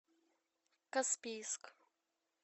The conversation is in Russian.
каспийск